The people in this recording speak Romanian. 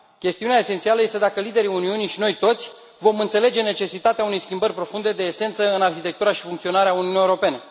Chestiunea esențială este dacă liderii Uniunii și noi toți vom înțelege necesitatea unei schimbări profunde de esență în arhitectura și funcționarea Uniunii Europene.